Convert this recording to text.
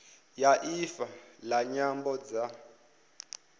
ya ifa la nyambo dza